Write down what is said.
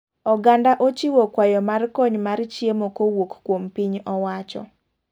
Oganda ochiwo kwayo mar kony mar chiemo kowuok kuom piny owacho.